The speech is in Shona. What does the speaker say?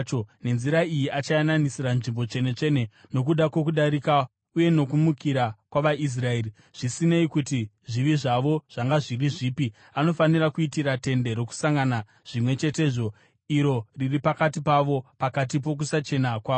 Nenzira iyi achayananisira Nzvimbo Tsvene-tsvene nokuda kwokudarika uye nokumukira kwavaIsraeri, zvisinei kuti zvivi zvavo zvanga zviri zvipi. Anofanira kuitira Tende Rokusangana zvimwe chetezvo, iro riri pakati pavo, pakati pokusachena kwavo.